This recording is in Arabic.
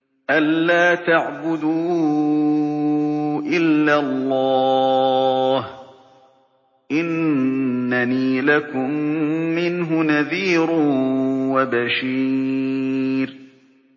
أَلَّا تَعْبُدُوا إِلَّا اللَّهَ ۚ إِنَّنِي لَكُم مِّنْهُ نَذِيرٌ وَبَشِيرٌ